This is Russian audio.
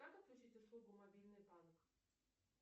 как отключить услугу мобильный банк